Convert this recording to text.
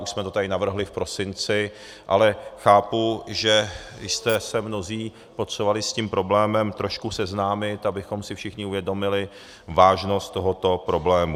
Už jsme to tady navrhli v prosinci, ale chápu, že jste se mnozí potřebovali s tím problémem trošku seznámit, abychom si všichni uvědomili vážnost tohoto problému.